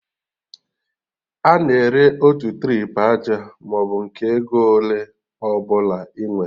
A na-ere otu trip aja maọbụ nke ego ole ọbụla ị nwere